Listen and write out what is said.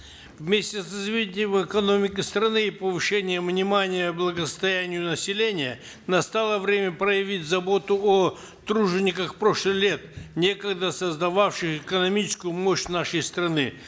вместе с развитием экономики страны и повышением внимания благосостоянию населения настало время проявить заботу о тружениках прошлых лет некогда создававших экономическую мощь нашей страны